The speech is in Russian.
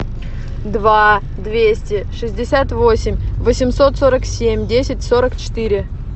два двести шестьдесят восемь восемьсот сорок семь десять сорок четыре